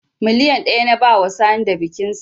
Miliyan ɗaya na bawa Sani da bikinsa